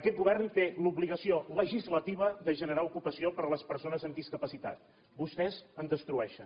aquest govern té l’obligació legislativa de generar ocupació per a les persones amb discapacitat vostès en destrueixen